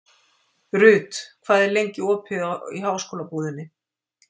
Ruth, hvað er lengi opið í Háskólabúðinni?